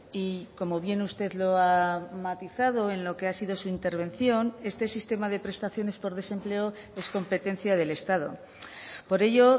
y como bien usted lo ha matizado en lo que ha sido su intervención este sistema de prestaciones por desempleo es competencia del estado por ello